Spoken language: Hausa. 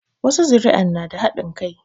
Wasu zuri'an na da haɗin kai